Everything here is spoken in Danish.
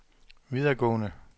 videregående